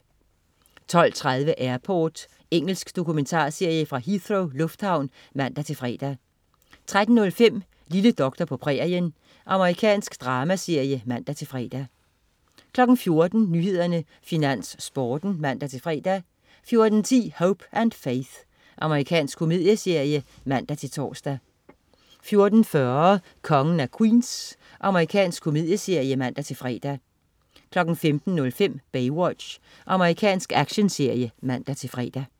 12.30 Airport. Engelsk dokumentarserie fra Heathrow lufthavn (man-fre) 13.05 Lille doktor på prærien. Amerikansk dramaserie (man-fre) 14.00 Nyhederne, Finans, Sporten (man-fre) 14.10 Hope & Faith. Amerikansk komedieserie (man-tors) 14.40 Kongen af Queens. Amerikansk komedieserie (man-fre) 15.05 Baywatch. Amerikansk actionserie (man-fre)